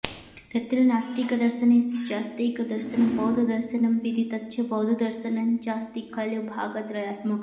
तत्र नास्तिकदर्शनेषु चास्त्येकं दर्शनं बौद्धदर्शनमपीति तच्च बौद्ध दर्शनञ्चास्ति खलु भागत्रयात्मकम्